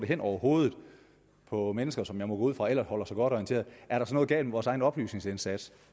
hen over hovedet på mennesker som jeg må gå ud fra ellers holder sig godt orienteret er der så noget galt med vores egen oplysningsindsats